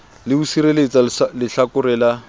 le ho sireletsa lehlakore la